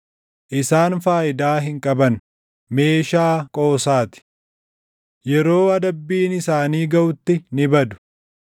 Isaan faayidaa hin qaban; meeshaa qoosaa ti. Yeroo adabbiin isaanii gaʼutti ni badu.